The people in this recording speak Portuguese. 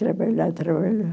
Trabalhar, trabalhar.